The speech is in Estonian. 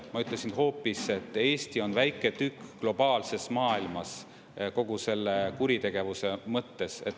Ma ütlesin hoopis, et Eesti on väike tükk globaalses maailmas kogu selle kuritegevuse mõttes.